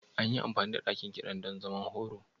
An yi amfani da ɗakin kiɗan don zaman horo?